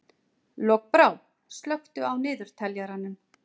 Lokbrá, slökktu á niðurteljaranum.